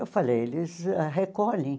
Eu falei, eles recolhem.